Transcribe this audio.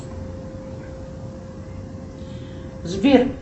сбер